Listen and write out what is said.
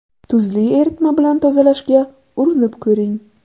Tuzli eritma bilan tozalashga urinib ko‘ring.